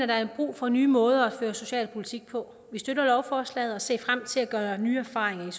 der er brug for nye måder at føre socialpolitik på vi støtter lovforslaget og ser frem til at gøre nye erfaringer